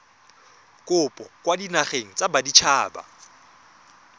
kopo kwa dinageng tsa baditshaba